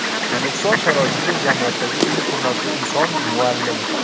O‘zbekiston sharoitida jamiyatdagi eng hurmatli inson muallim.